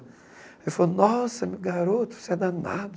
Ele falou, nossa, garoto, você é danado.